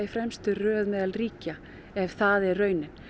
fremstu röð meðal ríkja ef það er raunin